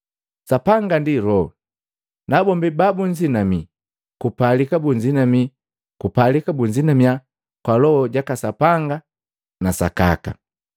Sapanga ndi Loho, nabombi babunzinamii kupalika kunzinamii kwa Loho jaka Sapanga na sakaka.”